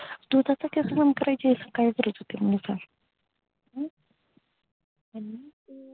पण यैकी तुला तेवढा परिश्रम करायची काय गरज होती पण